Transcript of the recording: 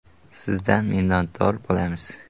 Sizdan minnatdor bo‘lamiz!